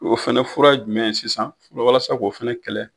O fana fura ye jumɛn ye sisan walasa k'o fana kɛlɛ.